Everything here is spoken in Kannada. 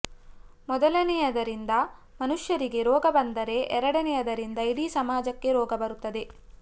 ಮೊದಲನೆಯದರಿಂದ ಮನುಷ್ಯರಿಗೆ ರೋಗ ಬಂದರೆ ಎರಡನೇಯದರಿಂದ ಇಡೀ ಸಮಾಜಕ್ಕೆ ರೋಗ ಬರತದೆ